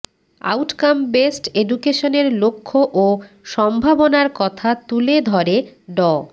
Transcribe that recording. outcome based এডুকেশনের লক্ষ্য ও সম্ভাবনার কথা তুলে ধরে ড